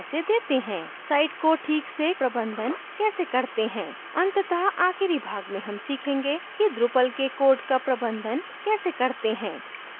site को ठीक से प्रबंधन कैसे करते हैं अंततः आखिरी भाग में how सीखेंगे कि drupal के कोड का प्रबंधन कैसे करते हैं